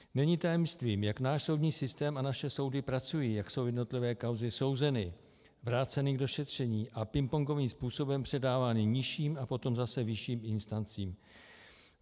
Není tajemstvím, jak náš soudní systém a naše soudy pracují, jak jsou jednotlivé kauzy souzeny, vraceny k došetření a pingpongovým způsobem předávány nižším a potom zase vyšším instancím.